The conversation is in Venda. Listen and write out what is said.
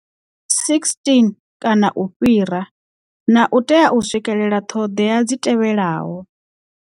16 kana u fhira, na u tea u swikelela ṱhoḓea dzi tevhelaho.